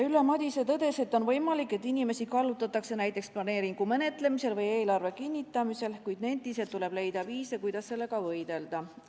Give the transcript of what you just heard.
Ülle Madise tõdes, et on võimalik, et inimesi kallutatakse näiteks planeeringu menetlemisel või eelarve kinnitamisel, kuid nentis, et tuleb leida viise, kuidas sellega võidelda.